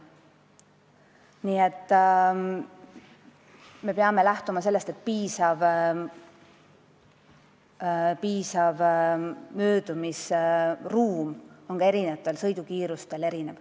Nii et me peame lähtuma sellest, et piisav möödumisruum on erinevatel sõidukiirustel erinev.